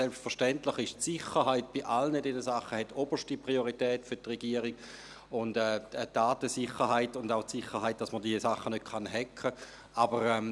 Selbstverständlich hat die Sicherheit bei all diesen für die Regierung oberste Priorität, inklusive der Datensicherheit und auch der Sicherheit, dass man diese Anwendungen nicht «hacken» kann.